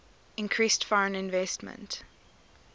increased foreign investment